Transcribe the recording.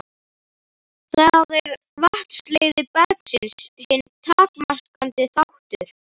Þar er vatnsleiðni bergsins hinn takmarkandi þáttur.